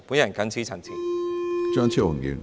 我謹此陳辭。